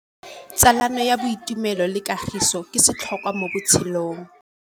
Tsalano ya boitumelo le kagiso ke setlhôkwa mo botshelong.